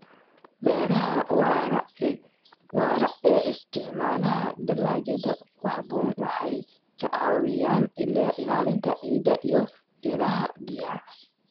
Beeraha waara ee isticmaala dalagyada ku haboon waxay ka caawiyaan ilaalinta ciidda iyo ilaha biyaha.